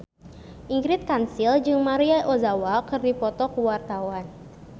Ingrid Kansil jeung Maria Ozawa keur dipoto ku wartawan